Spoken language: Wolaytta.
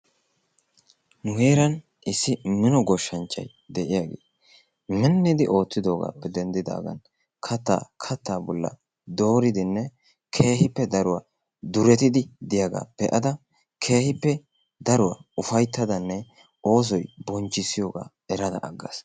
nu heeran issi mino goshshanchchay de'iyaagee miniddi ootidoogappe denddidaagan kattaa katta bolla dooridinne keehippe daruwaa durettidi diyaaga be'ada keehippe daruwaa ufayttadanne oosoy bonchchissiyooga erada aggaas.